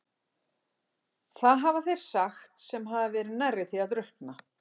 Það hafa þeir sagt sem hafa verið nærri því að drukkna.